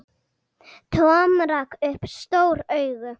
Tom rak upp stór augu.